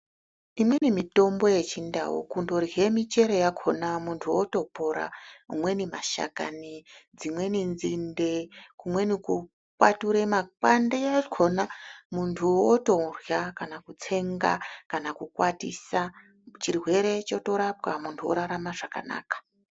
Imweni mitombo yechindau kundorye michero yakhona muntu otopora, amweni mashakani, dzimweni nzinde kumweni kukwature makwande ekhona muntu otorya kana kutsenga kana kukwatisa chirwere chotorapwa muntu orarama zvakanaka.